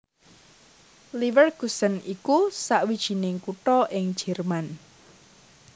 Leverkusen iku sawijining kutha ing Jèrman